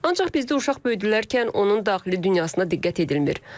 Ancaq bizdə uşaq böyüdülərkən onun daxili dünyasına diqqət edilmir.